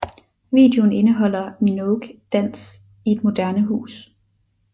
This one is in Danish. Videoen indeholder Minogue dans i et moderne hus